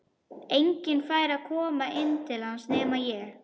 Enginn fær að koma inn til hans nema ég.